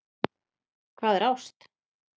Hvað er ást?